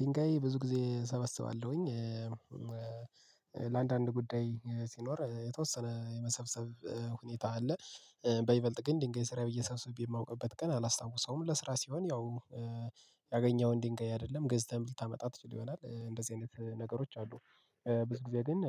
ድንጋይ ብዙ ጊዜ እሰበስባለሁኝ። ለአንዳንድ ጉዳይ ሲኖር የተወሰነ የመሰብሰብ ሁኔታ አለ። በይበልጥ ግን ድንገት ስራዬ ብዬ ሰብስቤ የማውቅበት ቀን አላስታውሰውም። ለስራ ሲሆን ያው ያገኘውን ድንጋይ አይደለም ገዝተህ ልታመጣ ትችል ይሆናል እንደዚህ አይነት ነገሮች አሉ። ብዙ ጊዜ ግን